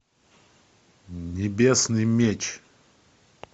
небесный меч